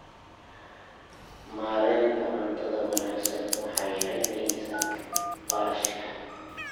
Maareynta cuntada wanaagsan waxay yaraynaysaa kharashka.